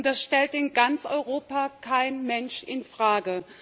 Das stellt in ganz Europa kein Mensch in Frage.